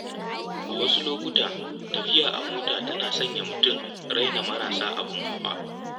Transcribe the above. A wasu lokuta, tafiya da mota tana sanya mutum raina marasa abun hawa.